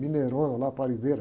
Mineirona lá, parideira.